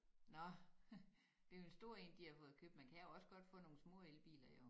Nå det er en stor én de har fået købt mna kan jo også godt få nogen små elbiler jo